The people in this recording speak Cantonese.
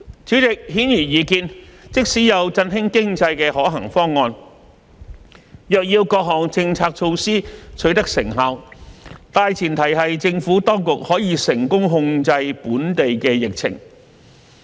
主席，顯而易見，即使有振興經濟的可行方案，若要各項政策措施取得成效，大前提是政府當局可以成功控制本地疫情。